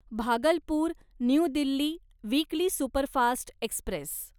Bhagalpur new Delhi weekly superfast Express